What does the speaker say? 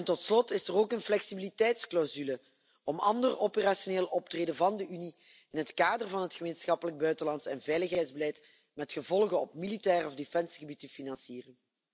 Tot slot is er ook een flexibiliteitsclausule om ander operationeel optreden van de Unie in het kader van het gemeenschappelijk buitenlands en veiligheidsbeleid, met gevolgen op militair of defensiegebied, te financieren.